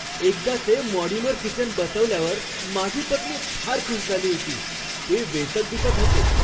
एकदाचे modular kitchen बसवल्यावर माझी पत्नी फार खुश झाली होती. ते वेचक दिसत होते!